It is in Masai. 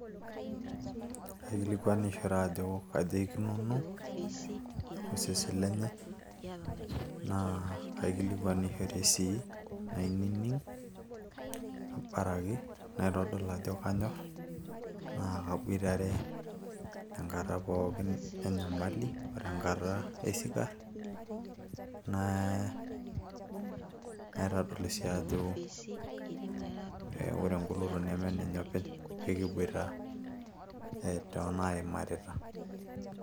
Kaikilikuanishore ajo kaja ikununo osesen lenye naa kaikilikuanishore sii nainining abaraki naitodol ajo kanyorr naa kabuitare enkata pookin enyamali o tenkata e sikarr naa naitadol sii ajo ore engoloto neme enenye openy ekibuita toonaimarita.